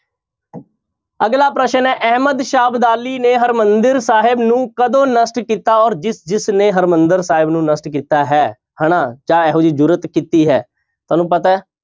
ਅਗਲਾ ਪ੍ਰਸ਼ਨ ਹੈ ਅਹਿਮਦ ਸ਼ਾਹ ਅਬਦਾਲੀ ਨੇ ਹਰਿਮੰਦਰ ਸਾਹਿਬ ਨੂੰ ਕਦੋਂ ਨਸ਼ਟ ਕੀਤਾ ਔਰ ਜਿਸ ਜਿਸ ਨੇ ਹਰਿਮੰਦਰ ਸਾਹਿਬ ਨੂੰ ਨਸ਼ਟ ਕੀਤਾ ਹੈ ਹਨਾ ਚਾਹੇ ਇਹੋ ਜਿਹੀ ਜ਼ੁਰਤ ਕੀਤੀ ਹੈ ਤੁਹਾਨੂੰ ਪਤਾ ਹੈ